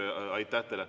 Aitäh teile!